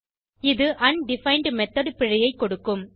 இது undefined method பிழையை கொடுக்கும்